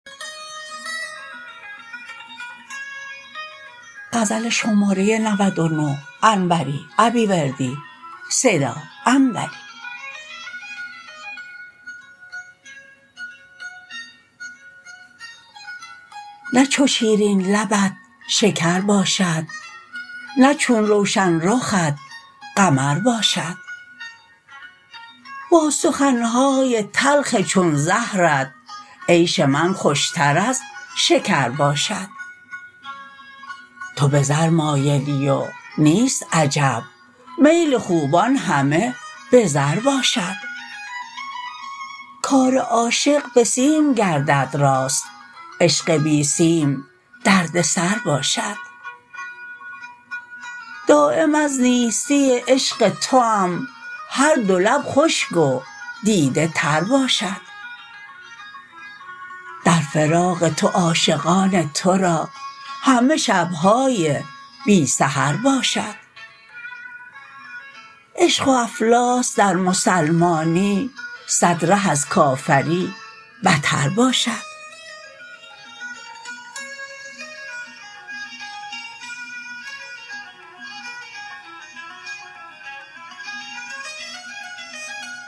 نه چو شیرین لبت شکر باشد نه چو روشن رخت قمر باشد با سخنهای تلخ چون زهرت عیش من خوشتر از شکر باشد تو به زر مایلی و نیست عجب میل خوبان همه به زر باشد کار عاشق به سیم گردد راست عشق بی سیم دردسر باشد دایم از نیستی عشق توام هر دو لب خشک و دیده تر باشد در فراق تو عاشقان ترا همه شبهای بی سحر باشد عشق و افلاس در مسلمانی صد ره از کافری بتر باشد